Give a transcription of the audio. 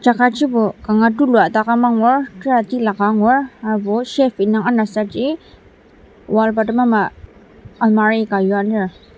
jaka jibo kanga tulua daka mangur tera tilaka angur harbo shelf indang anasaji wall bottom ama almirah ka yua lir.